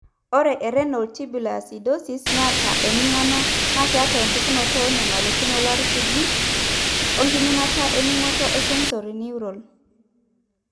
Ore eRenal tubular acidosis naata eming'ano naa keeta empukunoto oonyamalitin olairakuji (eRenal) oenkiminata ening'oto sensorineural.